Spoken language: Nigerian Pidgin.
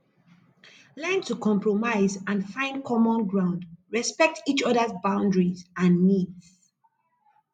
learn to compromise and find common ground respect each others boundaries and needs